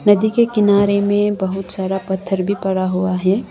नदी के किनारे में बहुत सारा पत्थर भी पड़ा हुआ है।